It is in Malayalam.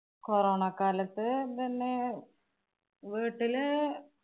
corona ക്കാലത്ത് ഇതുതന്നെ വീട്ടില്